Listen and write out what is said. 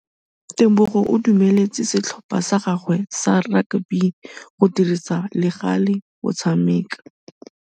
Tebogô o dumeletse setlhopha sa gagwe sa rakabi go dirisa le galê go tshameka.